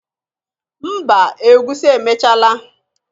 Mba egusi emechala